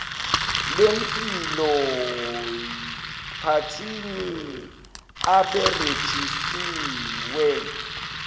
lempilo yphathini abarejistiwe